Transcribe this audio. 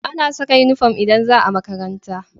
Ana Saka inufom idan zaa makaranta